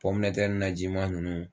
Pɔmnɛtɛr najima nunnu